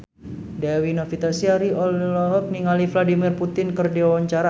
Dewi Novitasari olohok ningali Vladimir Putin keur diwawancara